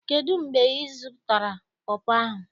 Kedu mgbe izụtara pọpọ ahụ?